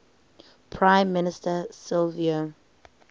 prime minister silvio